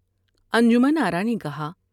انجمن آرا نے کہا ۔